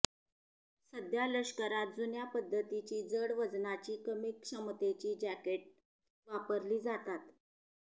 सध्या लष्करात जुन्या पद्धतीची जड वजनाची कमी क्षमतेची जॅकेट वापरली जातात